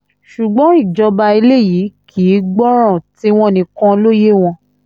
ṣùgbọ́n ìjọba eléyìí kì í gbọ́ràn tiwọn nìkan ló yé wọn